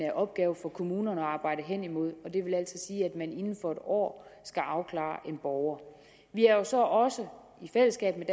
en opgave for kommunerne at arbejde hen imod og det vil altså sige at man inden for en år skal afklare en borger vi har så også i fællesskab med